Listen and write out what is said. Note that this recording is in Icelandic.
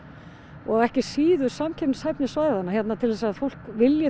og ekki síður samkeppnishæfni svæðanna til þess að fólk vilji þá